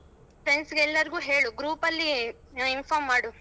Friends ಎಲ್ಲರುಗು ಹೇಳು group ಅಲ್ಲಿ inform ಮಾಡು.